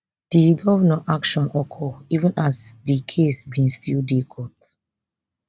di govnnor action occur even as di case bin still dey court